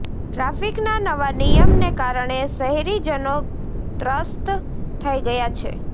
ટ્રાફિકના નવા નિયમને કારણે શહેરીજનો ત્રસ્ત થઇ ગયા છે